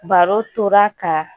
Baro tora ka